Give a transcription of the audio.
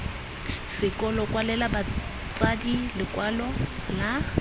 sekolo kwalela batsadi lekwalo la